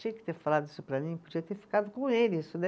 Tinha que ter falado isso para mim, podia ter ficado com ele isso, né?